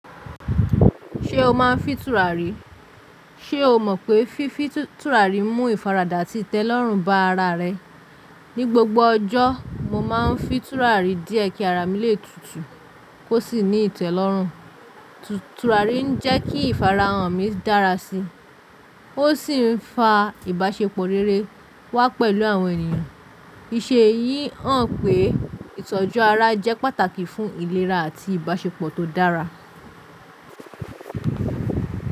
Ṣé o máa ń fín turàrì? Ṣé o mọ̀ pé fífí turàrì mú ìfaradà àti ìtẹ́lọ́rùn bá ara rẹ? Ní gbogbo ọjọ́, mo máa ń fín turàrì díẹ̀ kí ara mi lè tutù kó sì ní ìtẹ́lọ́rùn. Turàrì ń jẹ́ kí ìfara ọmí dára sí i, ó sì ń fa ìbáṣepọ̀ rere wá pẹ̀lú àwọn ènìyàn. Íṣe yìí hàn pé ìtọ́jú ara jẹ́ pàtàkì fún ìlera àti ìbáṣepọ̀ tó dára.